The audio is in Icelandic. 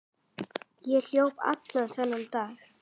Ég hljóp allan þennan dag.